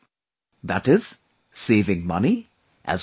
That is saving money as well as time